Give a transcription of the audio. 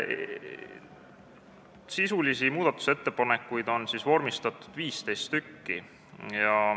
Sisulisi muudatusettepanekuid on vormistatud 15.